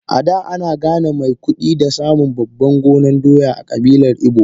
Ada ana gane mai kudi da samun babban gonan Doya a kabilar igbo.